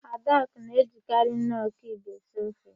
Adakụ na-ejikarị nọọ kiub esi ofe.